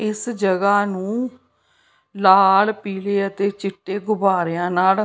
ਇਸ ਜਗ੍ਹਾ ਨੂੰ ਲਾਲ ਪੀਲੇ ਅਤੇ ਚਿੱਟੇ ਗੁਬਾਰਿਆਂ ਨਾਲ --